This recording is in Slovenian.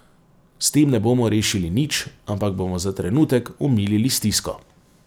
S tem ne bomo rešili nič, ampak bomo za trenutek omilili stisko.